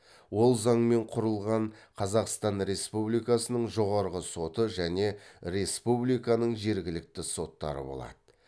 ол заңмен құрылған қазақстан республикасының жоғарғы соты және республиканың жергілікті соттары болады